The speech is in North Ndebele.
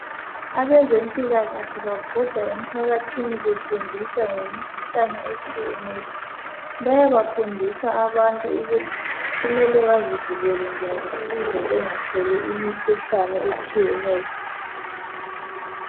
Abezempilakahle babhoda emphakathini befundisa ngemikhuhlane etshiyeneyo. Bayabafundisa abantu ukuthi kumele bazivikele njani ukuze bengatholi imikhuhlane etshiyeneyo.